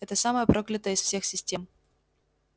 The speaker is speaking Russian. это самая проклятая из всех систем